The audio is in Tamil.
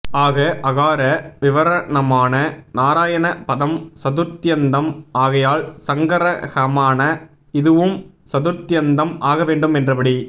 ஆக அகார விவரணமான நாராயண பதம் சதுர்த்யந்தம் ஆகையால் சங்க்ரஹமான இதுவும் சதுர்த்த்யந்தம் ஆகவேண்டும் என்றபடி